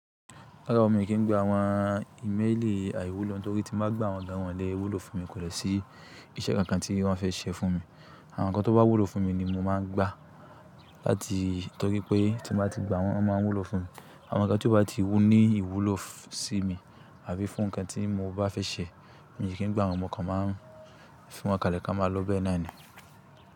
Rárá mo kì í gba àwọn ìmélì àìwúlò torí tí mo bá gba wọn gàn wọ́nlẹ̀ wúlò fún mi kò dè sí iṣẹ́ kankan tí wọ́n fẹ́ ṣe fún mi. Àwọn nǹkan tó bá wúlò fún mi ni mo máa ń gba láti torí pé tí mo bá ti gba wọ́n, wọ́n máa wúlò fún mi. Àwọn nǹkan tí ó bá ti ní ìwúlò sí mi àbí fún nǹkan tí mo bá fẹ́ ṣe, mo kì í gba wọn mo kan máà ń fi wọn kalẹ̀ kó máa lo bẹ́ẹ̀ náà ni.